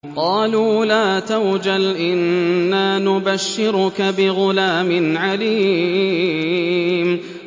قَالُوا لَا تَوْجَلْ إِنَّا نُبَشِّرُكَ بِغُلَامٍ عَلِيمٍ